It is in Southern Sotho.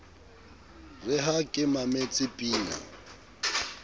re ha ke mametse pina